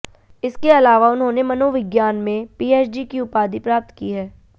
इसके अलावा उन्होंने मनोविज्ञान में पीएचडी की उपाधि प्राप्त की है